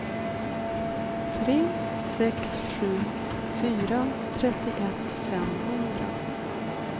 tre sex sju fyra trettioett femhundra